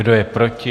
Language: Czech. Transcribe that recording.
Kdo je proti?